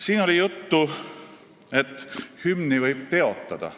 Siin oli juttu hümni teotamisest.